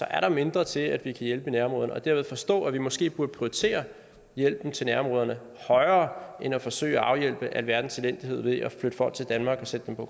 er der mindre til at vi kan hjælpe i nærområderne og derved forstå at vi måske burde prioritere hjælpen til nærområderne højere end at forsøge at afhjælpe alverdens elendighed ved at flytte folk til danmark og sætte dem på